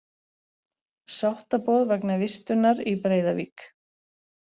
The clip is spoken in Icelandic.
Sáttaboð vegna vistunar í Breiðavík